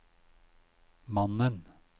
mannen